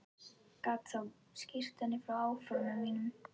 Gat þá skýrt henni frá áformum mínum.